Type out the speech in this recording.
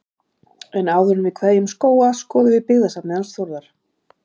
En áður en við kveðjum Skóga skoðum við byggðasafnið hans Þórðar.